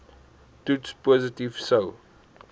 toets positief sou